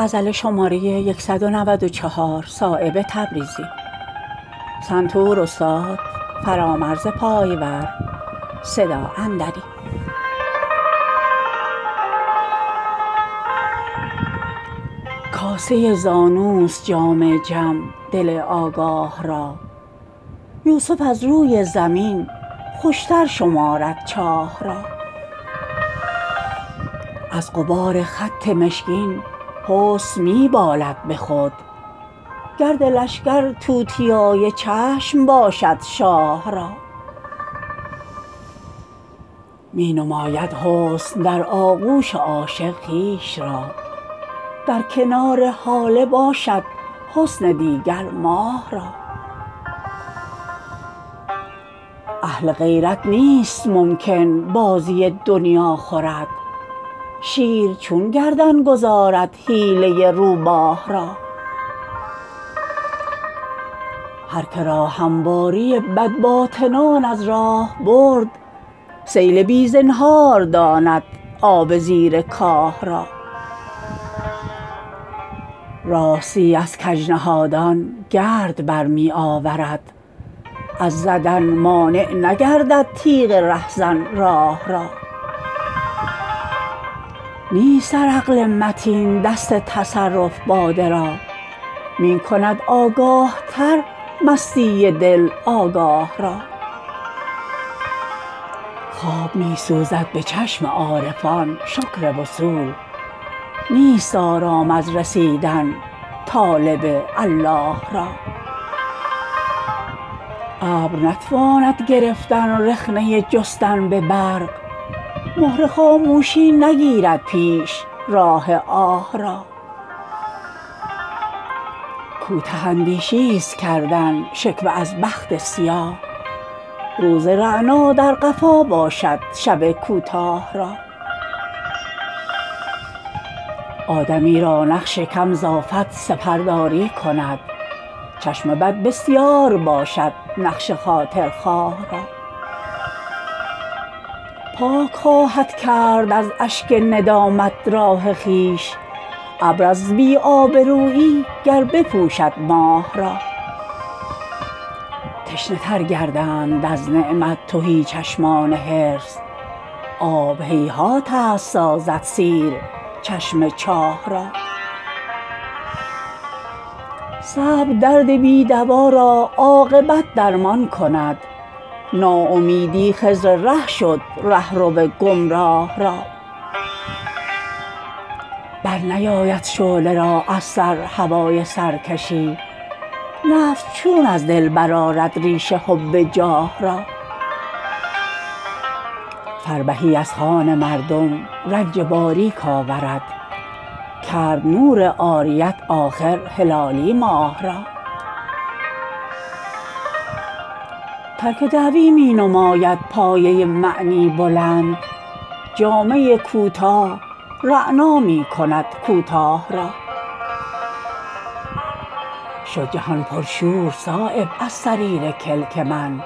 کاسه زانوست جام جم دل آگاه را یوسف از روی زمین خوش تر شمارد چاه را از غبار خط مشکین حسن می بالد به خود گرد لشکر توتیای چشم باشد شاه را می نماید حسن در آغوش عاشق خویش را در کنار هاله باشد حسن دیگر ماه را اهل غیرت نیست ممکن بازی دنیا خورد شیر چون گردن گذارد حیله روباه را هر که را همواری بدباطنان از راه برد سیل بی زنهار داند آب زیر کاه را راستی از کج نهادان گرد برمی آورد از زدن مانع نگردد تیغ رهزن راه را نیست در عقل متین دست تصرف باده را می کند آگاه تر مستی دل آگاه را خواب می سوزد به چشم عارفان شکر وصول نیست آرام از رسیدن طالب الله را ابر نتواند گرفتن رخنه جستن به برق مهر خاموشی نگیرد پیش راه آه را کوته اندیشی است کردن شکوه از بخت سیاه روز رعنا در قفا باشد شب کوتاه را آدمی را نقش کم ز آفت سپرداری کند چشم بد بسیار باشد نقش خاطرخواه را پاک خواهد کرد از اشک ندامت راه خویش ابراز بی آبرویی گر بپوشد ماه را تشنه تر گردند از نعمت تهی چشمان حرص آب هیهات است سازد سیر چشم چاه را صبر درد بی دوا را عاقبت درمان کند ناامیدی خضر ره شد رهرو گمراه را برنیاید شعله را از سر هوای سرکشی نفس چون از دل برآرد ریشه حب جاه را فربهی از خوان مردم رنج باریک آورد کرد نور عاریت آخر هلالی ماه را ترک دعوی می نماید پایه معنی بلند جامه کوتاه رعنا می کند کوتاه را شد جهان پر شور صایب از صریر کلک من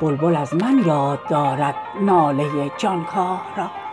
بلبل از من یاد دارد ناله جانکاه را